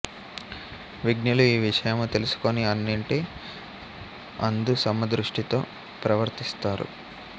విజ్ఞులు ఈ విషయము తెలుసుకుని అన్నింటి అందు సమదృష్టితో ప్రవర్తిస్తారు